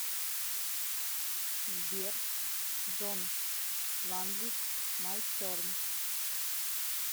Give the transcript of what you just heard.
сбер джон ландвик май терн